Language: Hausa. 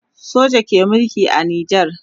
soja ke Mulki a nijar